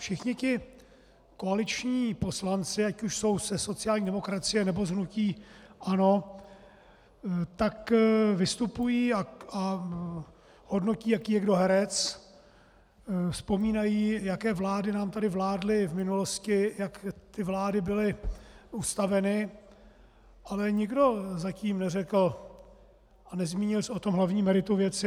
Všichni ti koaliční poslanci, ať už jsou ze sociální demokracie, nebo z hnutí ANO, tak vystupují a hodnotí, jaký je kdo herec, vzpomínají, jaké vlády nám tady vládly v minulosti, jak ty vlády byly ustaveny, ale nikdo zatím neřekl a nezmínil se o tom hlavním meritu věci.